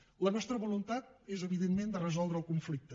lla nostra voluntat és evidentment resoldre el conflicte